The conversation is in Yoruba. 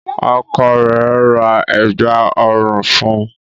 Ọkọ rẹ̀ ra Ẹ̀gbá ọrùn fun